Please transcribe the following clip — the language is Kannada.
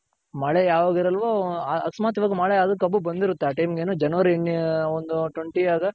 ಮಳೆ ಯಾವಾಗ್ ಇರಲ್ವೋ ಅಕಸ್ಮಾತ್ಮ ಮಳೆ ಕಬ್ಬು ಬಂದಿರುತ್ತೆ ಆ time ಗೇನು January ಇನ್ನು ಒಂದು twenty